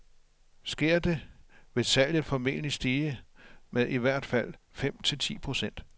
Sker det, vil salget formentlig stige med i hvert fald fem til ti procent.